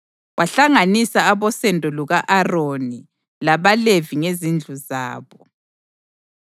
Wahlanganisa abosendo luka-Aroni labaLevi ngezindlu zabo: